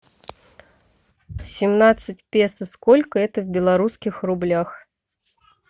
семнадцать песо сколько это в белорусских рублях